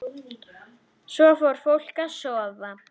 Svo fór fólk að sofa.